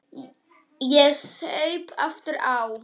Ég saup aftur á.